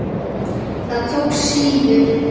Það tókst síður.